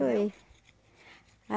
Foi.